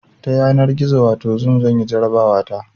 Ta yanar gizo wato zoom zanyi jarabawa ta